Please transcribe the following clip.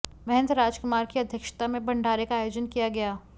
महंत राजकुमार की अध्यक्षता में भंडारे का आयोजन किया गया